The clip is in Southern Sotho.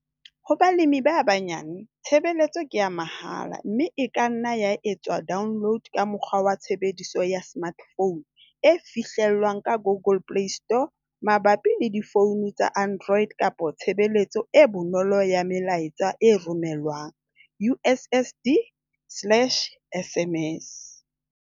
Ho balemi ba banyane, tshebeletso ke ya mahala, mme e ka nna ya etswa download ka mokgwa wa tshebediso ya smartphone e fihlellwang ka Google Play Store mabapi le difoune tsa Android kapo tshebeletso e bonolo ya melaetsa e romellwang, USSD slash SMS.